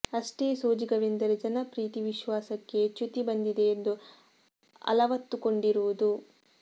ಅಷ್ಟೇ ಸೋಜಿಗವೆಂದರೆ ಜನರ ಪ್ರೀತಿ ವಿಶ್ವಾಸಕ್ಕೆ ಚ್ಯುತಿ ಬಂದಿದೆ ಎಂದು ಅಲವತ್ತುಕೊಂಡಿರುವುದು